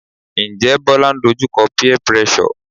Njẹ́ Bola ń dojú kọ peer pressure?